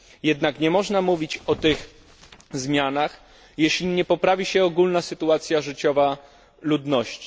Jednak nie można mówić o tych zmianach, jeśli nie poprawi się ogólna sytuacja życiowa ludności.